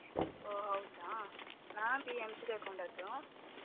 ಓಹ್ ಹೌದಾ ನಾನು PMC ತಗೊಂಡದ್ದು.